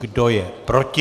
Kdo je proti?